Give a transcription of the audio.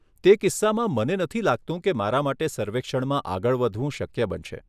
તે કિસ્સામાં, મને નથી લાગતું કે મારા માટે સર્વેક્ષણમાં આગળ વધવું શક્ય બનશે.